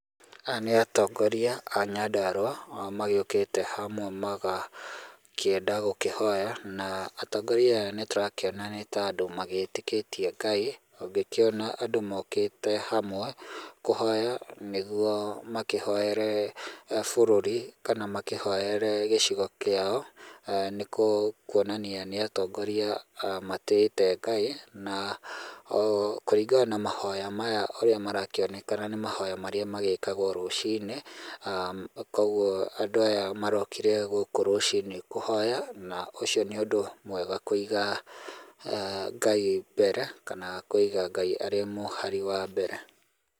Aya nĩ atongoria a Nyandarũa magĩokĩte hamwe magakĩenda gũkĩhoya na atongoria aya nĩ tũrakĩona nĩ ta andũ magĩtĩkĩtie Ngai ũngĩkĩona andũ mũkĩte hamwe kũhoya nĩguo makĩhoere bũrũri kana makĩhoere gĩcigo kĩao, nĩ kuonania nĩ atongoria matĩĩte Ngai na kũringana na mahoya maya ũrĩa marakĩoneka nĩ mahoya marĩa magĩkagwo rũcinĩ. Kũguo andũ aya marokĩre gũkũ rũcinĩ kũhoya na ũcio nĩ ũndũ mwega Kũiga Ngai mbere kana Kũiga Ngai arĩ mũhari wa mbere.